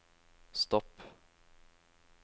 stopp